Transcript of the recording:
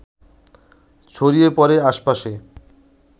ছড়িয়ে পড়ে আশপাশে